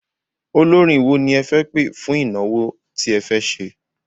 Olórin wo ni ẹ fẹ́ pẹ̀ fún ìnáwó tí ẹ fẹ́ ṣe?